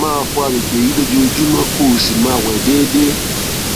máa fọ àgbègbè yìí lójoojúmọ kó o sì máa wẹ déédéé